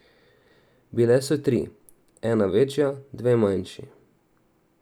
Bile so tri, ena večja, dve manjši.